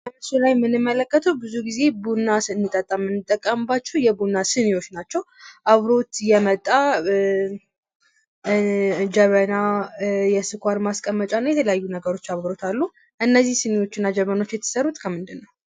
በምስሉ ላይ የመንመለከተው ብዙ ጊዜ ቡና ስንጠጣ የምንጠቀምባቸው የቡና ስኒዎች ናቸው። አብሮት የመጣ ጀበና፤ የስኳር ማስቀመጫ የተለያዩ ነገሮች አብረውት አሉ። እነዚህ ስኒና ጀበናዎች የተሰሩት ከምንድን ነው?